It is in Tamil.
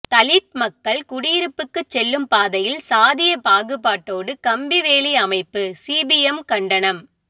தலித் மக்கள் குடியிருப்புக்குச் செல்லும் பாதையில் சாதிய பாகுபாட்டோடு கம்பிவேலி அமைப்பு சிபிஎம் கண்டனம்